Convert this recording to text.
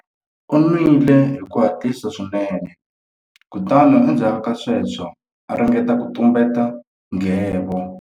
U nwile hi ku hatlisa swinene kutani endzhaku ka sweswo a ringeta ku tumbeta nghevo.